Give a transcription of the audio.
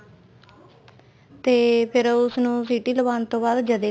ਤੇ ਫੇਰ ਉਸ ਨੂੰ ਸਿਟੀ ਲਵਾਣ ਤੋਂ ਬਾਅਦ ਜਦੇ